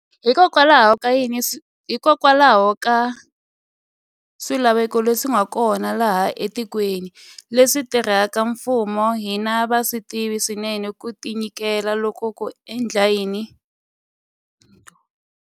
Hikokwalaho ka swilaveko leswi nga kona laha etikweni, leswi vatirhela mfumo va hina va swi tivaka swinene, ku tinyiketela loku ko endla hi vomu ko yivela xikhwama xa vaaki a ku riva leleki.